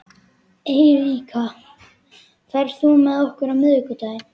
Eiríka, ferð þú með okkur á miðvikudaginn?